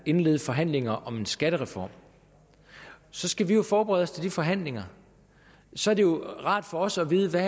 indlede forhandlinger om en skattereform så skal vi jo forberede os til de forhandlinger så er det jo rart for os at vide hvad